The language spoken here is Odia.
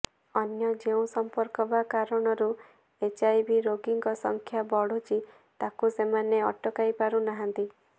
ଅନ୍ୟ ଯେଉଁ ସମ୍ପର୍କ ବା କାରଣରୁ ଏଚ୍ଆଇଭି ରୋଗୀଙ୍କ ସଂଖ୍ୟା ବଢ଼ୁଛି ତାକୁ ସେମାନେ ଅଟକାଇ ପାରୁ ନାହାନ୍ତି